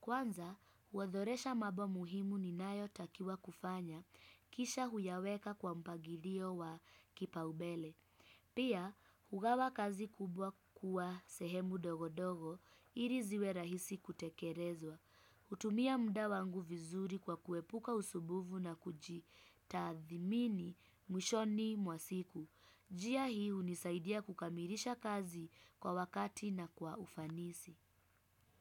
Kwanza, huothoresha mambo muhimu ninayotakiwa kufanya. Kisha huyaweka kwa mpagirio wa kipaubele. Pia, hugawa kazi kubwa kuwa sehemu dogo dogo, iri ziwe rahisi kutekerezwa. Hutumia mda wangu vizuri kwa kuepuka usubuvu na kujitathimini mwishoni mwa siku. Jia hii hunisaidia kukamirisha kazi kwa wakati na kwa ufanisi.